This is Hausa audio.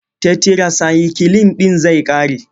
Tetirasayikilin ɗin zai ƙare.